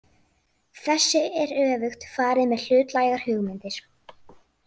Þessu er öfugt farið með hlutlægar hugmyndir.